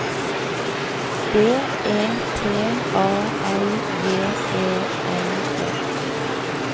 D E T A L J E N E